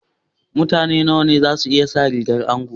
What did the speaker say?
Mutane nawa ne za su iya sa rigar anko?